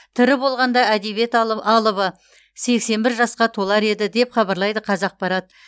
тірі болғанда әдебиет алыбы сексен бір жасқа толар еді деп хабарлайды қазақпарат